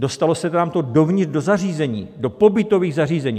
Dostalo se nám to dovnitř do zařízení, do pobytových zařízení.